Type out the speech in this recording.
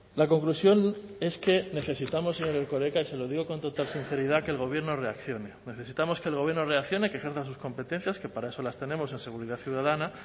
la conclusión es que necesitamos señor erkoreka y se lo digo con total sinceridad que el gobierno reaccione necesitamos que el gobierno reaccione que ejerza sus competencias que para eso las tenemos en seguridad ciudadana